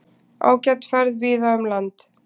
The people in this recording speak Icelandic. Ágæt færð víða um land